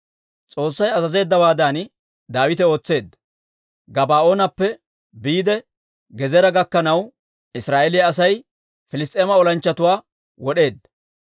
S'oossay azazeeddawaadan Daawite ootseedda. Gabaa'oonappe biide Gezeera gakkanaw, Israa'eeliyaa Asay Piliss's'eema olanchchatuwaa wod'eedda.